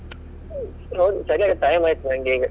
ನೋಡಿ, ಸರಿ ಹಾಗದ್ರೆ time ಆಯ್ತು ನಂಗೀಗ.